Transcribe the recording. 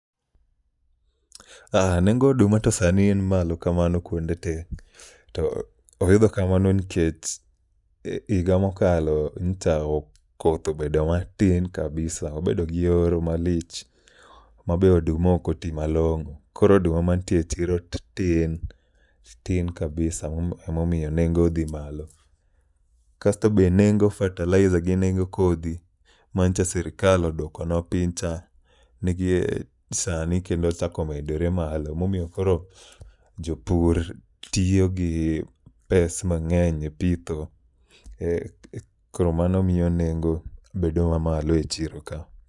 Aa, nengo oduma to sani n malo kamano kuonde te. To oidho kamano nikech higa mokalo nyicha koth obed matin kabisa, wabedo gi horo malich mabe oduma okoti malong'o. Koro oduma mantie e chiro tin, tin kabisa, emomiyo nengo odhi malo. Kasto be nengo fertiliser gi nengo kodhi ma nyicha sirikal odwokonwa piny cha, nigi e sani kendo ochako medore malo. Emomiyomkoro jopur tiyo gi pes mang'eny e pitho. E koro mano miyo nengo bedo ma malo e chiro ka.